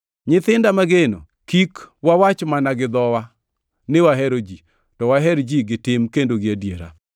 Nyithinda mageno, kik wawach mana gi dhowa ni wahero ji, to waher ji gi tim kendo gi adiera.